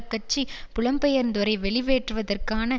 கட்சி புலம்பெயர்ந்தோரை வெளியேற்றுவதற்கான